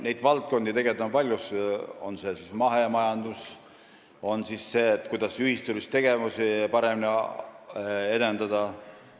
Neid valdkondi on tegelikult palju, on see siis mahemajandus või see, kuidas ühistulisi tegevusi paremini edendada.